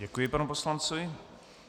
Děkuji panu poslanci.